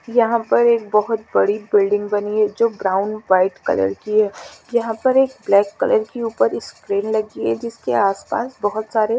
यहाँ पर एक बहत बड़ी बिल्डिँग बनी है जो ब्राउन वाइट कलर की है यहाँ पर एक ब्लैक कलर की ऊपर स्क्रीन लगी है जिसके आसपास बहुत सारे --